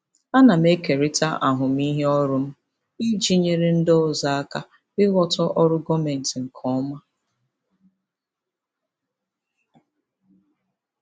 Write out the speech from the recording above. Ana m ekerịta ahụmịhe ọrụ m iji nyere ndị ọzọ aka ịghọta ọrụ gọọmentị nke ọma.